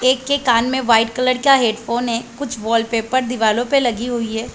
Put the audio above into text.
एक के कान मे वाइट कलर का हैडफ़ोन है। कुछ वॉलपेपर दिवलो पे लगी हुए है।